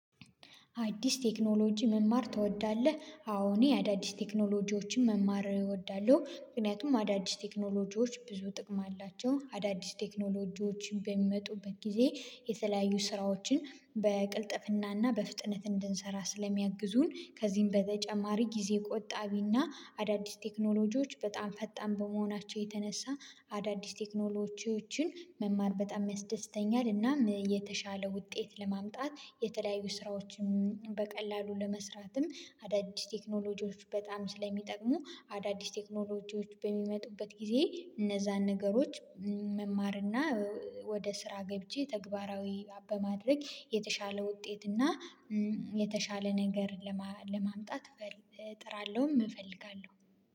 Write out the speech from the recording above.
አዲስ ቴክኖሎጂ መማር ትወዳለህ? አዎ እኔ አዳዲስ ቴክኖሎጂዎችን መማር እወዳለሁ ምክንያቱም አዳዲስ ቴክኖሎጂዎች ብዙ ጥቅም አላቸው አዳዲስ ቴክኖሎጂዎችን በሚመጡበት ጊዜ የተለያዩ ስራዎችን በቅልጥፍናና በፍጥነት እንድንሰራ ስለሚያግዙን ከዚህም በተጨማሪ ጊዜ ቆጣቢና አዳዲስ ቴክኖሎጂዎች በጣም ፈጣን በመሆናቸው የተነሳ አዳዲስ ቴክኖሎጂዎችን መማር በጣም ያስደስተኛል እና የተሻለ ውጤት ለማምጣት የተለያዩ ስራዎችን በቅልጥፍናና በፍጥነት እንድንሰራ ስለሚያግዙን ከዚህም በተጨማሪ ጊዜ ቆጣቢና አዳዲስ ቴክኖሎጂዎች በጣም ፈጣን በመሆናቸው የተነሳ አዳዲስ ቴክኖሎጂዎችን መማር በጣም ያስደስተኛል እና የተሻለ ውጤት ለማምጣት የተለያዩ ስራዎችን በቀላሉ ለመስራትም አዳዲስ ቴክኖሎጂዎች በጣም ስለሚጠቅሙ የቸሻለ ውጤትና የተሻለ ነገር እጥራለሁም እፈልጋለሁ